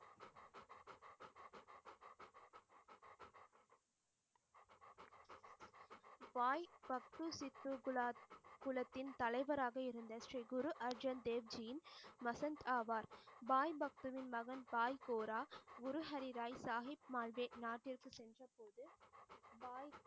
பாய் பக்து சித்து குலா குளத்தின் தலைவராக இருந்த ஸ்ரீ குரு அர்ஜுன் தேவ் ஜீன்ஸ் வசந்த் ஆவார் பாய் பக்துவின் மகன் பாய் கோரா குரு ஹரியராய் சாஹிப் மாழ்தேவ் நாட்டிற்க்கு சென்றபோது பாய்